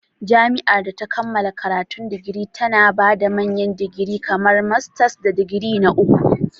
Jami'ar da ta kammala karatun digiri tana ba da manyan digiri kamar masters da digiri na uku.